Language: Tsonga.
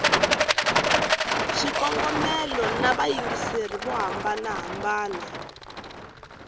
swikongomelo na vayingiseri vo hambana